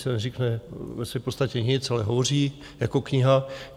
Sice neřekne ve své podstatě nic, ale hovoří jako kniha.